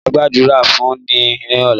Máa Gbàdúrà fún ní ọ̀la